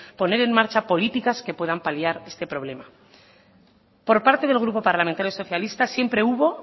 poner en marcha políticas que puedan paliar este problema por parte del grupo parlamentario socialista siempre hubo